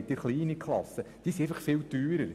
Sonderklassen sind klein und viel teurer.